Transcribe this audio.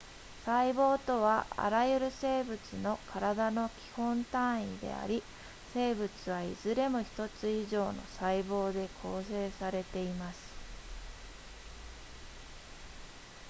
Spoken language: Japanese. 細胞とはあらゆる生物の体の基本単位であり生物はいずれも1つ以上の細胞で構成されています